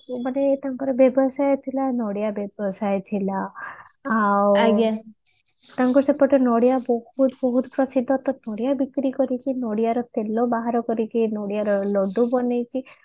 ମାନେ ତାଙ୍କର ବ୍ୟବସାୟ ଥିଲା ନଡିଆ ବ୍ୟବସାୟ ଥିଲା ଆଉ ତାଙ୍କ ସେପଟେ ନଡିଆ ବହୁତ ବହୁତ ପ୍ରସିଦ୍ଧ ତ ନଡିଆ ବିକ୍ରି କରିକି ନଡିଆରୁ ତେଲ ବାହାର କରିକି ନଡିଆ ର